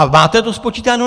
A máte to spočítáno?